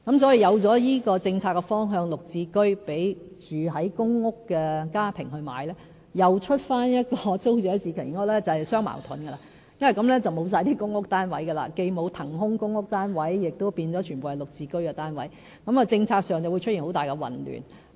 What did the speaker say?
所以，有了這個讓公屋家庭購買"綠置居"的政策方向，再推出租者置其屋計劃便是相矛盾，因為這樣便會完全沒有出租公屋單位，既沒有騰空的公屋單位，全部單位亦變成"綠置居"單位，政策上會出現很大混亂。